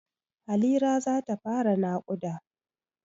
Halira za ta fara naƙuda.